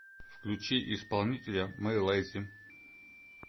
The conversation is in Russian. включи исполнителя мэй лэйзи